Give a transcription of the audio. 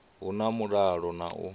hu na mulalo na u